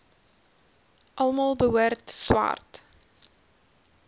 almal behoort swart